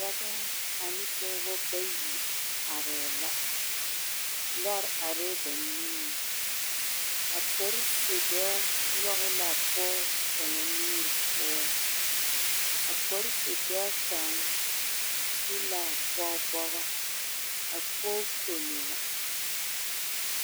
Dɔba ane pɔgeba bayi arɛɛ la lɔre arɛɛ ba niŋeŋ a polise dɔɔ nyɔge la a pɔge kaŋa nuure poɔ ka polise dɔɔ kaŋa ti la a pɔge bɔgɔ a pɔge kono la